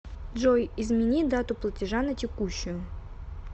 джой измени дату платежа на текущую